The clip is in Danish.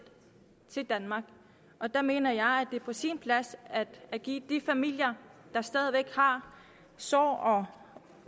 til danmark og der mener jeg at det er på sin plads at give de familier der stadig væk har sår og